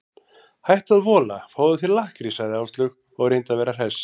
Hættu að vola, fáðu þér lakkrís sagði Áslaug og reyndi að vera hress.